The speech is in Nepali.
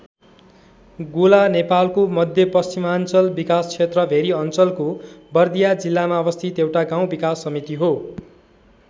गोला नेपालको मध्यपश्चिमाञ्चल विकास क्षेत्र भेरी अञ्चलको बर्दिया जिल्लामा अवस्थित एउटा गाउँ विकास समिति हो।